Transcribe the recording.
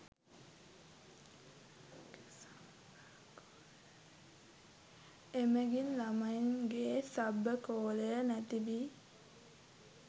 එමගින් ළමයින්ගේ සබකෝලය නැති වී